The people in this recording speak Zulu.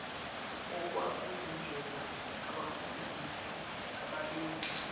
okwakuyindlela abafundisi ababenza